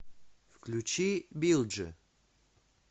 включи билджи